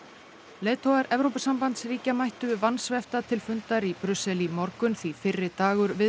leiðtogar Evrópusambandsríkja mættu vansvefta til fundar í Brussel í morgun því fyrri dagur